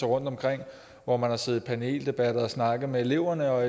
rundtomkring hvor man har siddet i paneldebatter og snakket med eleverne og